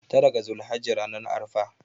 tara ga zulhajji ranar arfa